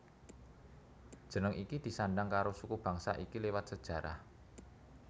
Jeneng iki disandang karo suku bangsa iki lewat sejarah